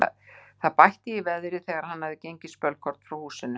Það bætti í veðrið þegar hann hafði gengið spölkorn frá húsinu.